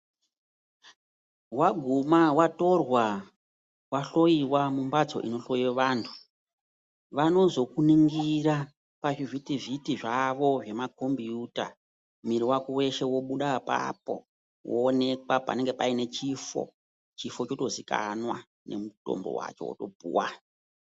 Waguma watorwa wahloyiwa mumbatso inohloye vantu vanozokuningira pachivhiti vhiti zvavo zvemakombiyuta. Mwiri wako weshe wobuda apapo woonekwa panenge paine chifo, chifo chotozivikanwa nemutombo wacho wotopuwa.